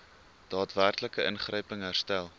daadwerklike ingryping herstel